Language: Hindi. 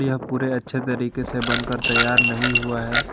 यह पूरे अच्छे तरीके से बनकर तैयार नहीं हुआ है।